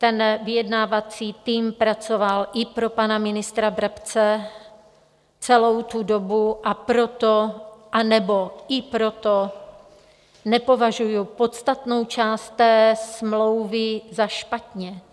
Ten vyjednávací tým pracoval i pro pana ministra Brabce celou tu dobu, a proto, anebo i proto nepovažuji podstatnou část té smlouvy za špatnou.